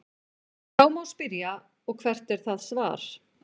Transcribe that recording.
Þá má spyrja: Og hvert er það svar?.